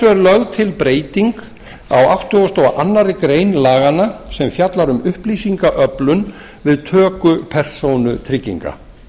er lögð til breyting á á áttugasta og aðra grein laganna sem fjallar um upplýsingaöflun við töku persónutrygginga